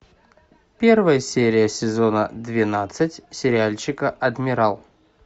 первая серия сезона двенадцать сериальчика адмирал